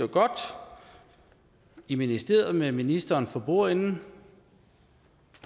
i ministeriet med ministeren for bordenden